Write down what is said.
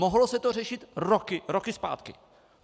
Mohlo se to řešit roky, roky zpátky.